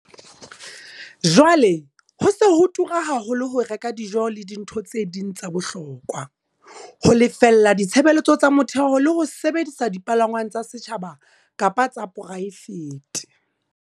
Jwale ho se ho tura haholo ho reka dijo le dintho tse ding tsa bohokwa, ho lefella ditshebeletso tsa motheo le ho sebedisa dipalangwang tsa setjhaba kapa tsa poraefete.